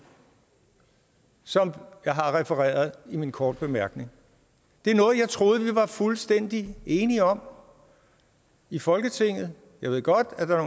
som jeg har refereret i en kort bemærkning det er noget jeg troede vi var fuldstændig enige om i folketinget jeg ved godt at der er